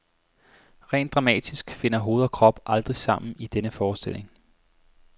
Rent dramatisk finder hoved og krop aldrig sammen i denne forestilling.